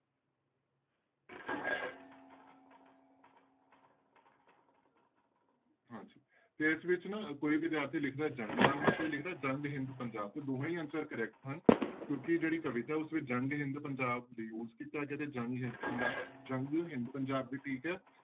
ਹਾਂਜੀ ਤੇ ਇਸ ਵਿੱਚ ਨਾ ਕੋਈ ਵਿਦਿਆਰਥੀ ਲਿਖਦਾ ਜੰਗਨਾਮਾ ਕੋਈ ਲਿਖਦਾ ਜੰਗ ਹਿੰਦ ਪੰਜਾਬ ਤੇ ਦੋਹੇਂ ਹੀ answer correct ਹਨ ਕਿਉਂਕਿ ਜਿਹੜੀ ਕਵਿਤਾ ਉਸ ਵਿੱਚ ਜੰਗ ਹਿੰਦ ਪੰਜਾਬ ਤੇ ਜੰਗ ਹਿੰਦ ਜੰਗ ਹਿੰਦ ਪੰਜਾਬ ਵੀ ਠੀਕ ਹੈ।